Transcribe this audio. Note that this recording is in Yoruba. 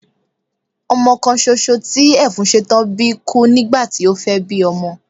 Ọmọ kan soso tí Ẹfúnsetán bí kú nígbàti o fẹ́ bí ọmọ